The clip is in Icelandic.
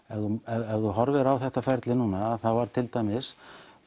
ef þú ef þú horfir á þetta ferli núna þá er til dæmis